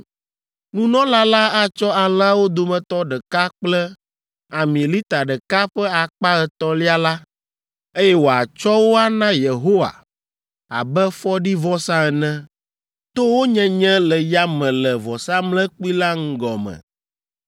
Nunɔla la atsɔ alẽawo dometɔ ɖeka kple ami lita ɖeka ƒe akpa etɔ̃lia la, eye wòatsɔ wo ana Yehowa abe fɔɖivɔsa ene to wo nyenye le yame le vɔsamlekpui la ŋgɔ me.